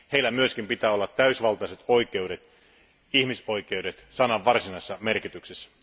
Heillä myös pitää olla täysivaltaiset oikeudet, ihmisoikeudet sanan varsinaisessa merkityksessä.